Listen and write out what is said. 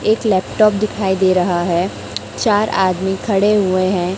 एक लैपटॉप दिखाई दे रहा है चार आदमी खड़े हुए हैं।